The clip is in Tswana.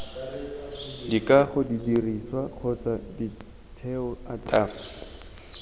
dikago didirisiwa kgotsa setheo ataf